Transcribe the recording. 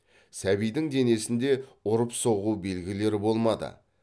сәбидің денесінде ұрып соғу белгілері болмады